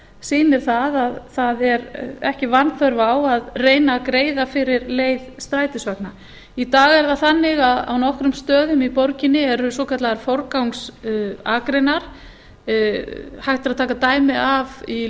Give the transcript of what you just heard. sýnir að það er ekki vanþörf á að greiða fyrir leið strætisvagna í dag er það þannig að á nokkrum stöðum í borginni eru svokallaðar forgangsakreinar hægt er að taka dæmi af í